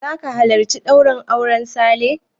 Zaka halarci ɗaurin auren Sale?